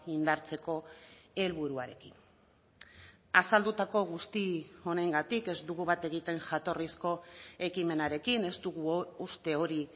indartzeko helburuarekin azaldutako guzti honengatik ez dugu bat egiten jatorrizko ekimenarekin ez dugu uste hori